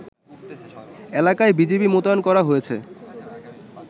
এলাকায় বিজিবি মোতায়েন করা হয়েছে